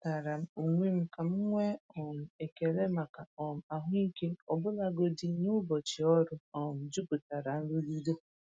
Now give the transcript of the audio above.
Echetaara m onwe m ka m nwee um ekele maka um ahụike ọbụlagodi n’ụbọchị ọrụ um jupụtara nrụgide.